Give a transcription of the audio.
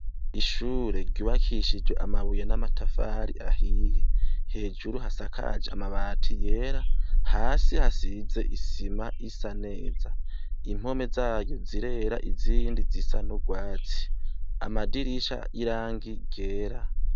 Ishure ryubakishijwe amabuye, n'amatafari ahiye, hejuru hasakaje amabati yera, hasi hasize isima isa neza, impome zaryo zirera, izindi zisa n'urwatsi amadirisha y'irangi ryera .